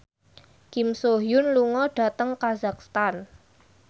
Kim So Hyun lunga dhateng kazakhstan